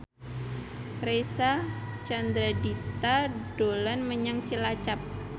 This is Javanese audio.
Reysa Chandragitta dolan menyang Cilacap